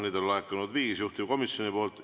Neid on laekunud viis, kõik juhtivkomisjonilt.